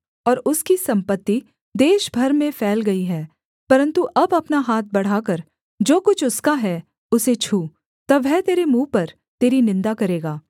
परन्तु अब अपना हाथ बढ़ाकर जो कुछ उसका है उसे छू तब वह तेरे मुँह पर तेरी निन्दा करेगा